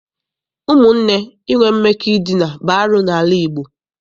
Ụmụnne inwe mmekọ edina bụ arụ n'ala Igbo.